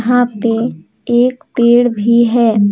यहां पे एक पेड़ भी है।